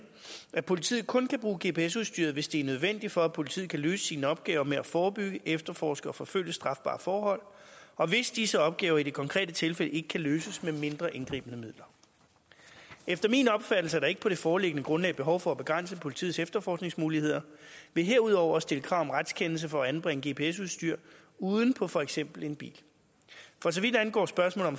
at politiet kun kan bruge gps udstyret hvis det er nødvendigt for at politiet at løse sine opgaver med at forebygge efterforske og forfølge strafbare forhold og hvis disse opgaver i det konkrete tilfælde ikke kan løses med mindre indgribende midler efter min opfattelse er der ikke på det foreliggende grundlag behov for at begrænse politiets efterforskningsmuligheder ved herudover at stille krav om retskendelse for at anbringe gps udstyr uden på for eksempel en bil for så vidt angår spørgsmålet